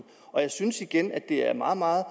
jeg synes igen at det er meget meget